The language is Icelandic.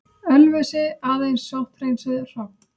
Ölfusi, aðeins sótthreinsuð hrogn.